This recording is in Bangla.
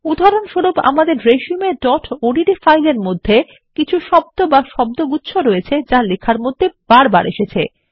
উদাহরণস্বরূপ আমাদের resumeওডিটি ফাইলের মধ্যে কিছু শব্দ বা শব্দগুচ্ছ রয়েছে যা লেখার মধ্যে বারবার এসেছে